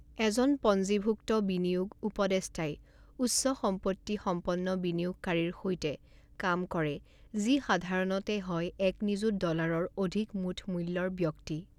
এজন পঞ্জীভুক্ত বিনিয়োগ উপদেষ্টাই উচ্চ সম্পত্তি সম্পন্ন বিনিয়োগকাৰীৰ সৈতে কাম কৰে যি সাধাৰণতে হয় এক নিযুত ডলাৰৰ অধিক মুঠ মূল্যৰ ব্যক্তি।